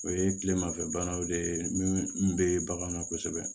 O ye tilemafɛ banaw de ye min bɛ bagan na kosɛbɛ